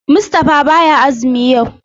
Mustapha baya azumi yau.